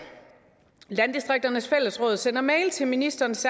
landdistrikternes fællesråd sender mail til ministerens